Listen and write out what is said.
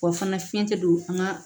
Wa fana fiɲɛ tɛ don an ka